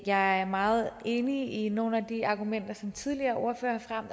jeg er meget enig i nogle af de argumenter som tidligere ordførere har